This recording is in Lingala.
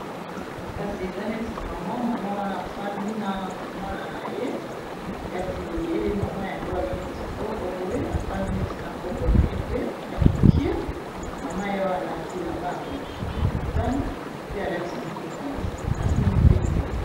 kasi eza neti mama mama wana afandi na mwana na ye kasi ye mama yango aza neti koko boye afandi neti na koko na ye pe ya mokie mama yaoye alati lamba ya motane pe alati liputa na se asimbi pe nzete